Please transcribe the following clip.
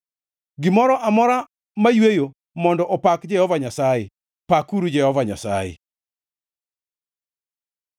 Gimoro amora mayweyo mondo opak Jehova Nyasaye. Pakuru Jehova Nyasaye.